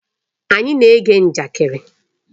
Anyị na-ege njakịrị.